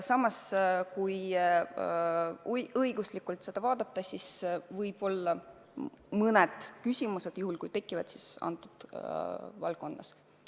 Aga kui asja õiguslikult vaadata, siis juhul kui küsimused tekivad, siis just selles valdkonnas.